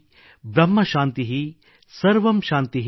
ಬಹ್ಮ ಶಾಂತಿಃ | ಸರ್ವಮ್ ಶಾಂತಿಃ |